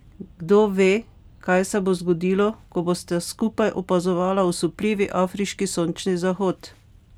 Kdo ve, kaj se bo zgodilo, ko bosta skupaj opazovala osupljivi afriški sončni zahod?